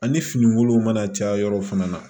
Ani fini wolon mana caya yɔrɔ fana na